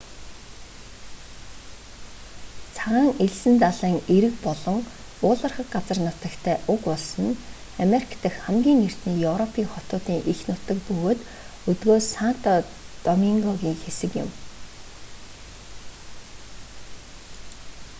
цагаан элсэн далайн эрэг болон уулархаг газар нутагтай уг улс нь америк дахь хамгийн эртний европын хотуудын эх нутаг бөгөөд өдгөө санто домингогийн хэсэг юм